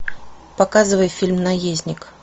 показывай фильм наездник